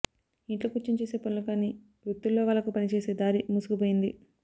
ఇంట్లో కూర్చుని చేసే పనులు కాని వృత్తుల్లో వాళ్లకు పని చేసే దారి మూసుకుపోయింది